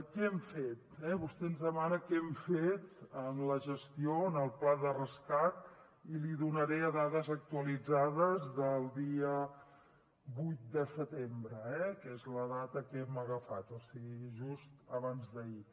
què hem fet vostè ens demana què hem fet amb la gestió en el pla de rescat i li donaré dades actualitzades del dia vuit de setembre eh que és la data que hem agafat o sigui just abans d’ahir